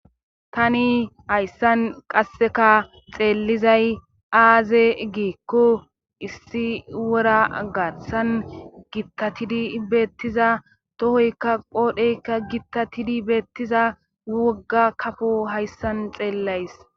Tani hayssan qasseka xeellizay aaze giikko issi wora gaththan gittatidi beettiza tohoykka qoodhdheykka gittatidi beettiza wogga kafo hayssan xeellays